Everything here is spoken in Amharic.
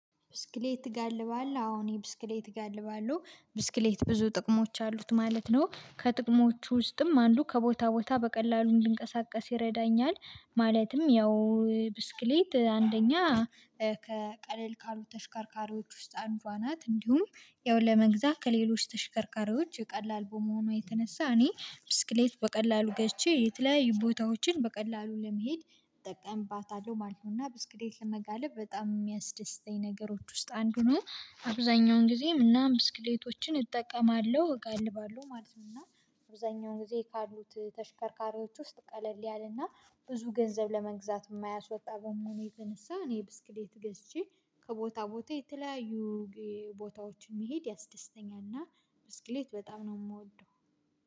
ብስክሌት ትጋልባለህ? አዎ እኔ ብስክሌት እጋልባለሁ። ብስክሌት ብዙ ጥቅሞች አሉት ማለት ነው። ከጥቅሞቹ ውስጥም አንዱ ከቦታ ቦታ በቀላሉ እንድንቀሳቀስ ይረዳኛል ማለትም ያው ብስክሌት አንደኛ ከቀለል ካሉ ተሽከርካሪዎች ውስጥ አንዷ ናት። እንዲሁም ያው ለመግዛት ከሌሎች ተሽከርካሪዎች ቀላል በመሆኗ የተነሳ እኔ ብስክሌት በቀላሉ ገዝቼ የተለያዩ ቦታዎችን በቀላሉ ለመሄድ እጠቀምባታለሁ ማለት ነው እና ብስክሌት ለመጋለብ በጣም የሚያስደስተኝ ነገሮች ውስጥ አንዱ ነው። አብዛኛውን ጊዜም እና ብስክሌቶችን እጠቀማለሁ፥ እጋልባለሁ ማለት ነው እና አብዛኛውን ጊዜ ካሉት ተሽከርካሪዎች ውስጥ ቀለል ያለና ብዙ ገንዘብ ለመግዛት የማያስወጣ በመሆኑ የተነሳ እኔ ብስክሌት ገዝቼ ከቦታ ቦታ የተለያዩ ቦታዎችን መሄድ ያስደስተኛል እና ብስክሌት በጣም ነው የምወደው።